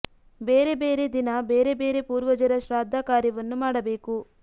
ಬೇರೆ ಬೇರೆ ದಿನ ಬೇರೆ ಬೇರೆ ಪೂರ್ವಜರ ಶ್ರಾದ್ಧ ಕಾರ್ಯವನ್ನು ಮಾಡಬೇಕು